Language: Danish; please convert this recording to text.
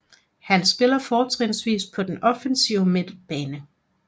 Han spiller fortrinsvis på den offensive midtbane